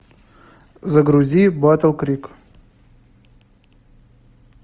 загрузи батл крик